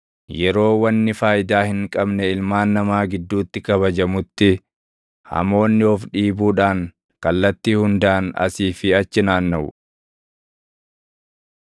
Yeroo wanni faayidaa hin qabne ilmaan namaa gidduutti kabajamutti hamoonni of dhiibuudhaan kallattii hundaan asii fi achi naannaʼu.